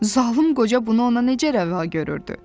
Zalım qoca bunu ona necə rəva görürdü?